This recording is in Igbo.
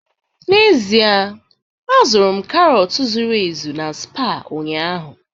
N'ezie, azụrụ m karọt zuru ezu na Spar ụnyaahụ